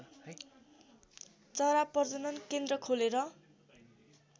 चरा प्रजनन केन्द्र खोलेर